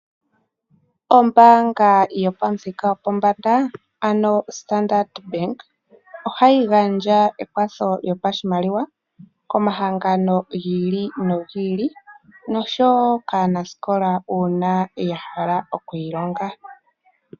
Ombaanga yopamuthika gopombanda ano oStandard Bank Ohayi gandja ekwatho lyoshimaliwa komahangano giili nogiili noshowoo kaanasikola uuna yahala okwiilonga.